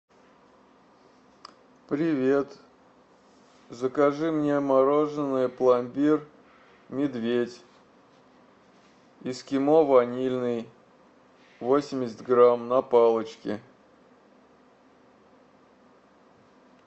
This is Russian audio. привет закажи мне мороженое пломбир медведь эскимо ванильный восемьдесят грамм на палочке